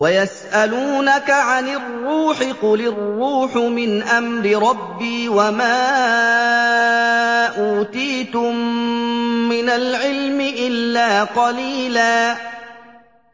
وَيَسْأَلُونَكَ عَنِ الرُّوحِ ۖ قُلِ الرُّوحُ مِنْ أَمْرِ رَبِّي وَمَا أُوتِيتُم مِّنَ الْعِلْمِ إِلَّا قَلِيلًا